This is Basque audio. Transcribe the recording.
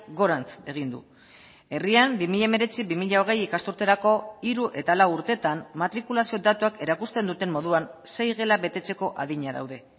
gorantz egin du herrian bi mila hemeretzi bi mila hogei ikasturterako hiru eta lau urteetan matrikulazio datuak erakusten duten moduan sei gela betetzeko adina daude